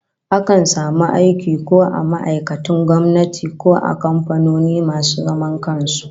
Akan samu aiki ko a ma'aikatun gwamnati ko a kamfanoni masu zaman kan su